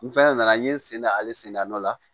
N fɛnɛ nana n ye sen da ale sen da nɔ la